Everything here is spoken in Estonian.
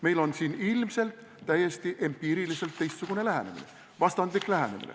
Meil on siin ilmselt täiesti empiiriliselt teistsugune lähenemine, vastandlik lähenemine.